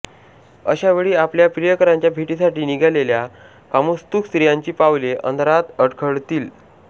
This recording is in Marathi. अशावेळी आपल्या प्रियकरांच्या भेटीसाठी निघालेल्या कामोत्सुक स्त्रियांची पावलें अंधारात अडखळतील